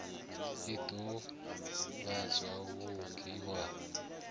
ḽi ḓo ḓivhadza muvhigi wa